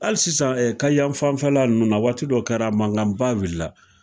Hali sisan Kayan fanfɛla ninnu na waati dɔ kɛra mankanba wila.